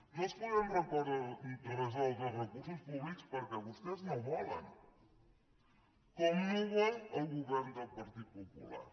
no els podem resoldre els recursos públics perquè vostès no volen com no ho vol el govern del partit popular